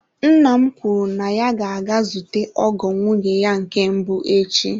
Nna m kwuru na ya ga-aga zute ọgọ nwunye ya nke mbụ echi.